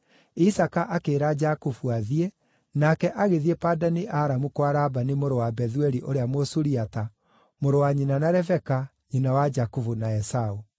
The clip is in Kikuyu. Isaaka akĩĩra Jakubu athiĩ, nake agĩthiĩ Padani-Aramu kwa Labani mũrũ wa Bethueli ũrĩa Mũsuriata, mũrũ wa nyina na Rebeka, nyina wa Jakubu na Esaũ.